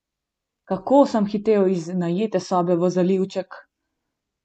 Kako sem hitel iz najete sobe v zalivček!